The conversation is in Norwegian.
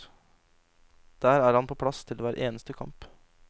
Der er han på plass til hver eneste kamp.